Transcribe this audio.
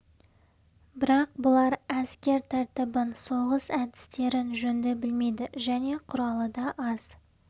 бірақ бұлар әскер тәртібін соғыс әдістерін жөнді білмейді және құралы да аз